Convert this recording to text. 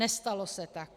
Nestalo se tak.